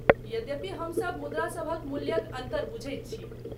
यद्यपि, हमसभ मुद्रासभक मूल्यक अन्तर बुझैत छी।